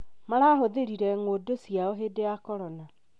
Marahũthĩrire ng'ũndũ ciao hĩndĩ ya corona